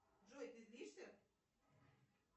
джой ты злишься